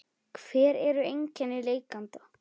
En hver eru einkenni lekanda?